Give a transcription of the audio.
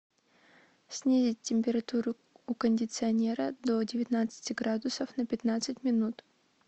снизить температуру у кондиционера до девятнадцати градусов на пятнадцать минут